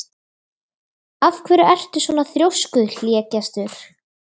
Af hverju ertu svona þrjóskur, Hlégestur?